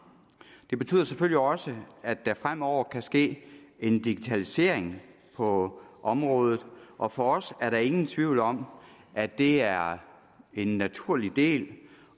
det betyder selvfølgelig også at der fremover kan ske en digitalisering på området og for os er der ingen tvivl om at det er en naturlig del